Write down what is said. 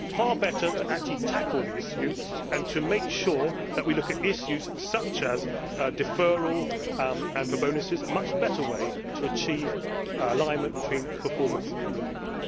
It is far better to actually tackle the issue and to make sure that we look at issues such as deferral, and for bonuses to have a much better way to achieve alignment between performance and reward.